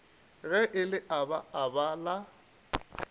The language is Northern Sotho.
ge le aba aba la